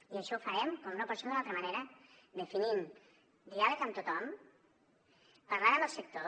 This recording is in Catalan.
i això ho farem com no pot ser d’una altra manera definint diàleg amb tothom parlant amb el sector